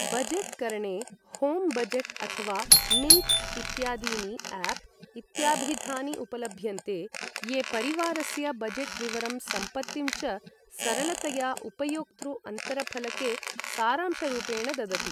Budget करणे home budget अथवा Mint इत्यादीनि आप् इत्याभिधानि उपलभ्यन्ते, ये परिवारस्य बजेट् विवरं सम्पत्तिं च सरलतया उपयोक्तृ अन्तरफलके सारांशरूपेण ददति।